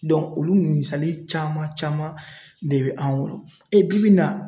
olu ninnu misali caman caman de bɛ an bolo, e bibi in na